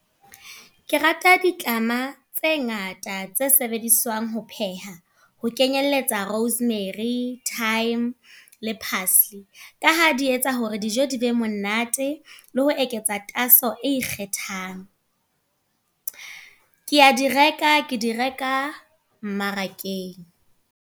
Ke rata ditlama tse ngata tse sebediswang ho pheha. Ho kenyelletsa rosemary, thyme, le parsley. Ka ha di etsa hore dijo di be monate, le ho eketsa tatso e ikgethang. Ke a di reka, ke di reka mmarakeng.